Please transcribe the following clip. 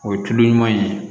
O ye tulu ɲuman ye